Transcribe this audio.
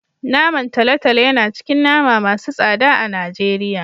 Naman tolotolo yana cikin nama masu tsada a Najeriya.